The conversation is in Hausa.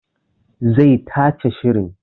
Zai tace shirin